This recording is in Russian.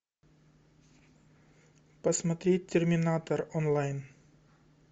посмотреть терминатор онлайн